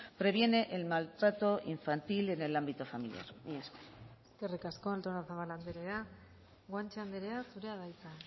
previene el maltrato infantil en el ámbito familiar mila esker eskerrik asko artozabal andrea guanche andrea zurea da hitza